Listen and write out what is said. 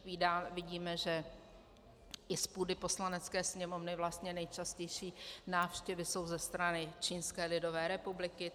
Vidíme, že i z půdy Poslanecké sněmovny vlastně nejčastější návštěvy jsou ze strany Čínské lidové republiky.